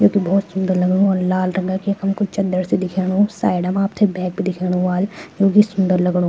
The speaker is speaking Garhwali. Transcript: यख भोत सुन्दर लगणु वल लाल रंग की यखम कुई चदर सी दिखेणु साइड म आपथे बैड भी दिखेणु ह्वाल जोकि सुन्दर लगणु।